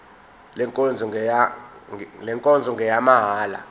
le nkonzo ngeyamahala